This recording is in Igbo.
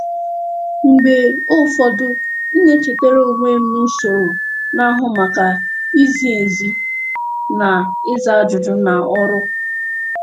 Mgbe ụfọdụ, m na-echetara onwe m na usoro na-ahụ maka izi ezi na ịza ajụjụ na ọrụ.